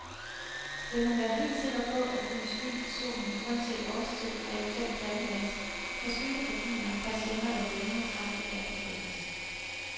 Vil man være helt sikker på at kunne skygge for solen uanset årstid og eventuelt plantevækst, kan skyggegardiner, persienner eller lignende kraftigt anbefales.